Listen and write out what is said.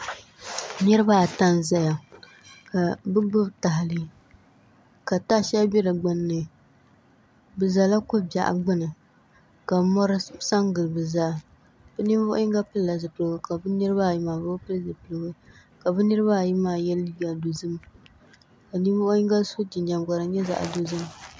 Niraba ata n ʒɛya ka bi gbubi tahali ka taha shɛli bɛ di gbunni bi ʒɛla ko biɛɣu gbuni ka mori sa n gili di zaa bi ninvuɣu yinga pilila zipiligu ka bi niraba ayi maa bi bi pili zipiligu ka bi niraba ayi maa yɛ liiga dozim ka ninvuɣu yinga so jinjɛm ka di nyɛ zaɣ dozim